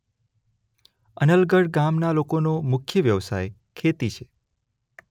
અનલગઢ ગામના લોકોનો મુખ્ય વ્યવસાય ખેતી છે.